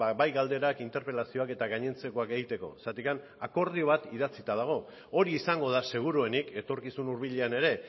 bai galderak interpelazioak eta gainontzekoak egiteko zergatik akordio bat idatzita dago hori izango da seguruenik etorkizun hurbilean ere